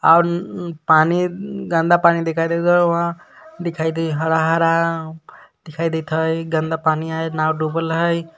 आऊर न पानी गन्दा पानी दिखाई देता उहा दिखाई दे हरा हरा दिखाई देत हय गन्दा पानी हय नाव डूबल हय।